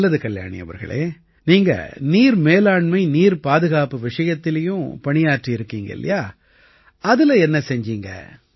நல்லது கல்யாணி அவர்களே நீங்க நீர்மேலாண்மைநீர்பாதுகாப்பு விஷயத்திலயும் பணியாற்றியிருக்கீங்க இல்லையா அதில என்ன செய்தீங்க